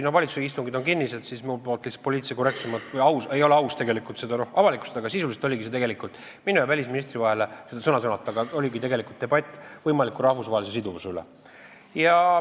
Kuna valitsuse istungid on kinnised, siis minu poolt ei ole lihtsalt poliitilise korrektsuse mõttes aus seda avalikustada, aga sisuliselt oligi arutelu minu ja välisministri vahel debatt võimaliku rahvusvahelise siduvuse üle.